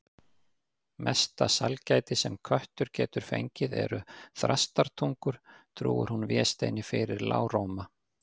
Mesta sælgæti sem köttur getur fengið eru þrastarungar, trúir hún Vésteini fyrir lágróma.